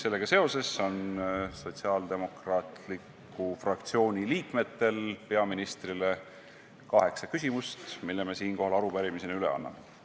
Sellega seoses on sotsiaaldemokraatliku fraktsiooni liikmetel peaministrile kaheksa küsimust, mille me siinkohal arupärimisena üle anname.